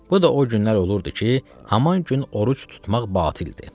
Bu da o günlər olurdu ki, haman gün oruc tutmaq batildir.